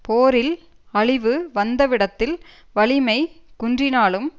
போரில் அழிவு வந்தவிடத்தில் வலிமைக் குன்றினாலும்